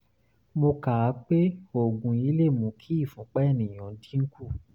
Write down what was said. mo kà á pé oògùn yìí lè mú kí ìfúnpá ènìyàn dínkù